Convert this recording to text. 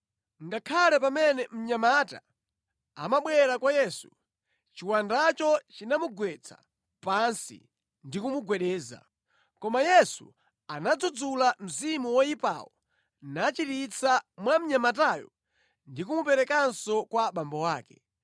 Ngakhale pamene mnyamata amabwera kwa Yesu, chiwandacho chinamugwetsa pansi ndi kumugwedeza. Koma Yesu anadzudzula mzimu woyipawo nachiritsa mwa mnyamatayo ndi kumuperekanso kwa abambo ake.